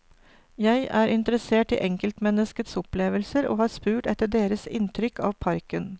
Jeg er interessert i enkeltmenneskets opplevelser og har spurt etter deres inntrykk av parken.